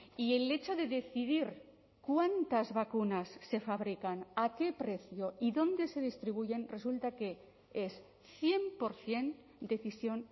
y el hecho de decidir cuántas vacunas se fabrican a qué precio y dónde se distribuyen resulta que es cien por ciento decisión